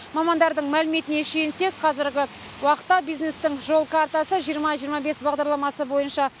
мамандардың мәліметіне сүйенсек қазіргі уақытта бизнестің жол картасы жиырма жиырма бес бағдарламасы бойынша